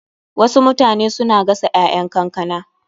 Wasu mutane suna gasa ƴaƴan kankana.